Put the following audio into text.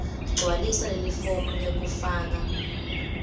gcwalisa lelifomu lekufaka